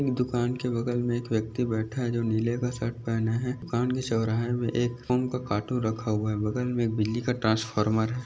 दुकान के बगल मे एक व्यक्ति बैठा है जो नीले का शर्ट पहना है दुकान के चौराहा मे एक फ़ोन का कार्टून रखा हुआ है बगल मे बिजली का ट्रांसफार्मर है।